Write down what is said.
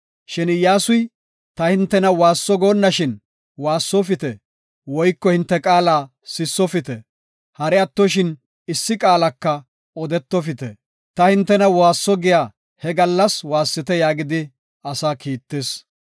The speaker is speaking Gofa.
Shin Iyyasuy, “Ta hintena waasso goonnashin waassofite woyko hinte qaala sissofite; hari attoshin issi qaalaka odetofite. Ta hintena waasso giya he gallas waassite” yaagidi asaa kiittis.